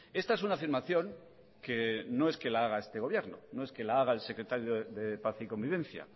esta es una afirmación que no es que lo haga este gobierno no es que lo haga el secretario de paz y convivencia